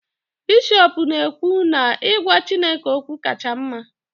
bishọp na-ekwu na I gwa chineke okwu kacha mma